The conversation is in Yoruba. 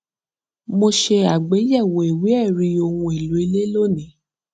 mo ṣe àgbéyẹwò ìwé ẹrí ohun èlò ilé lónìí